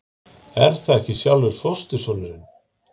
Er það ekki sjálfur fóstursonurinn?